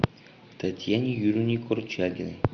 татьяне юрьевне корчагиной